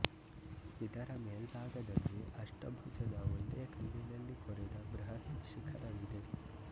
ಇದರ ಮೇಲ್ಭಾಗದಲ್ಲಿ ಅಷ್ಟಭುಜದ ಒಂದೇ ಕಲ್ಲಿನಲ್ಲಿ ಕೊರೆದ ಬೃಹತ್ ಶಿಖರವಿದೆ